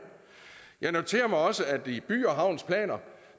jeg noterer mig også at i by havns planer